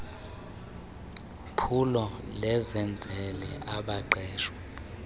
phulo lezenzele abaqeshwe